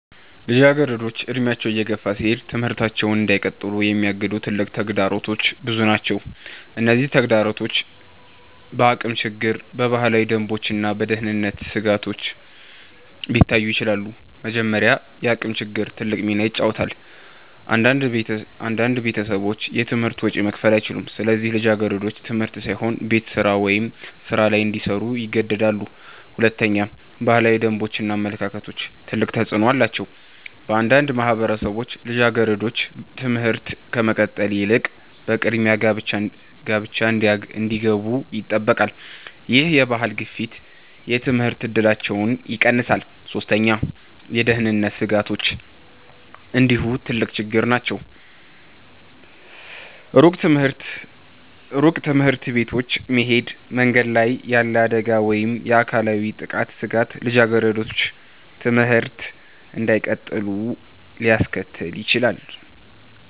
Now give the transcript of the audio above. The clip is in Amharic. ልጃገረዶች እድሜያቸው እየገፋ ሲሄድ ትምህርታቸውን እንዳይቀጥሉ የሚያግዱ ትልቅ ተግዳሮቶች ብዙ ናቸው። እነዚህ ተግዳሮቶች በአቅም ችግር፣ በባህላዊ ደንቦች እና በደህንነት ስጋቶች ሊታዩ ይችላሉ። መጀመሪያ፣ የአቅም ችግር ትልቅ ሚና ይጫወታል። አንዳንድ ቤተሰቦች የትምህርት ወጪ መክፈል አይችሉም፣ ስለዚህ ልጃገረዶች ትምህርት ሳይሆን ቤት ስራ ወይም ሥራ ላይ እንዲሰሩ ይገደዳሉ። ሁለተኛ፣ ባህላዊ ደንቦች እና አመለካከቶች ትልቅ ተፅዕኖ አላቸው። በአንዳንድ ማህበረሰቦች ልጃገረዶች ትምህርት ከመቀጠል ይልቅ በቅድሚያ ጋብቻ እንዲገቡ ይጠበቃሉ። ይህ የባህል ግፊት የትምህርት እድላቸውን ይቀንሳል። ሶስተኛ፣ የደህንነት ስጋቶች እንዲሁ ትልቅ ችግር ናቸው። ሩቅ ትምህርት ቤቶች መሄድ፣ መንገድ ላይ ያለ አደጋ ወይም የአካላዊ ጥቃት ስጋት ልጃገረዶች ትምህርት እንዳይቀጥሉ ሊያስከትል ይችላል።